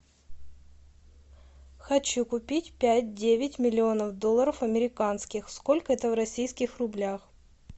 хочу купить пять девять миллионов долларов американских сколько это в российских рублях